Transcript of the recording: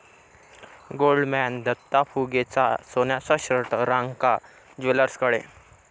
Goldman Datta फुगेचा सोन्याचा shirt Ranka ज्वेलर्सकडे!